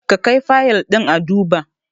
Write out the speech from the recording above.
Ka kai Fayil ɗin a duba!